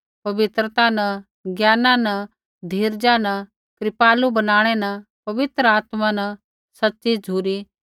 पवित्रता न ज्ञाना न धीरजा न कृपालु बनाणै न पवित्र आत्मा न सच़ी झ़ुरी